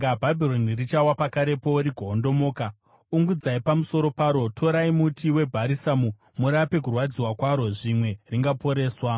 Bhabhironi richawa pakarepo rigoondomoka. Ungudzai pamusoro paro! Torai muti webharisamu murape kurwadziwa kwaro; zvimwe ringaporeswa.